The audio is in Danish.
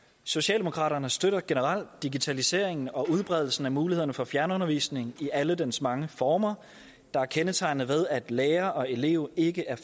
socialdemokraterne støtter generelt digitaliseringen og udbredelsen af mulighederne for fjernundervisning i alle dens mange former der er kendetegnet ved at lærer og elev ikke er